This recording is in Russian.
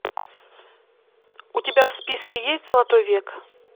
у тебя в списке есть золотой век